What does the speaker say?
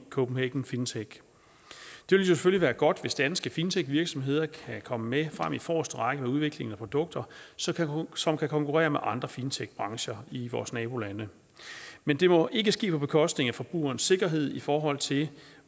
copenhagen fintech det ville selvfølgelig være godt hvis danske fintechvirksomheder kan komme med frem i forreste række i udviklingen af produkter som kan konkurrere med andre fintechbrancher i vores nabolande men det må ikke ske på bekostning af forbrugerens sikkerhed i forhold til